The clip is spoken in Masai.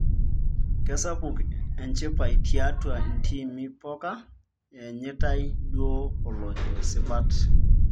Kesapuk enchipai tiatua intiimi poka ianyitae duo olojo sipat